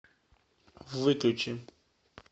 выключи